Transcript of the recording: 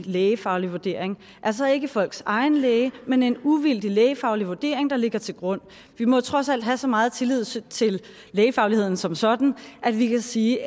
lægefaglig vurdering altså ikke folks egen læge men en uvildig lægefaglig vurdering der ligger til grund vi må trods alt have så meget tillid til til lægefagligheden som sådan at vi kan sige